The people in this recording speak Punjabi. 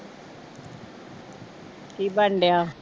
ਕੀ ਬਣ ਡਿਆ?